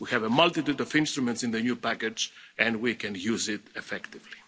We have a multitude of instruments in the new package and we can use it effectively.